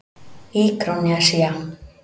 Míkrónesía